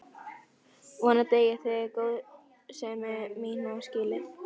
Vonandi eigið þið góðsemi mína skilið.